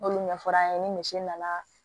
N'olu ɲɛfɔra an ye ni misi nana